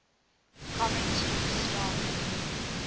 comic strips started